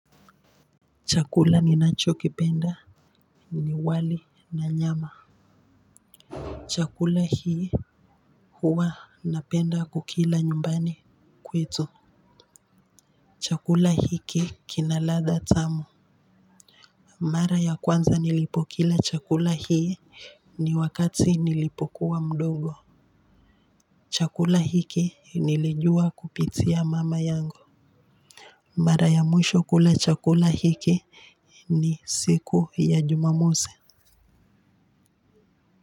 Chakula ninachokipenda ni wali na nyama chakula hii huwa napenda kukila nyumbani kwetu chakula hiki kina ladha tamu mara ya kwanza nilipokila chakula hii ni wakati nilipokuwa mdogo chakula hiki nilijua kupitia mama yangu mara ya mwisho kula chakula hiki ni siku ya jumamosi.